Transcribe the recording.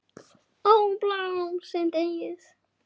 Ó, blóm sem deyið!